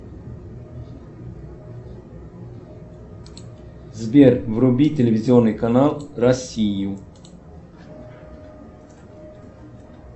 сбер вруби телевизионный канал россию